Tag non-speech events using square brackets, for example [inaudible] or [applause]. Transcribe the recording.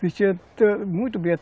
Vestia [unintelligible] muito bem.